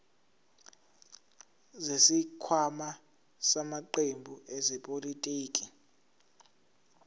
zesikhwama samaqembu ezepolitiki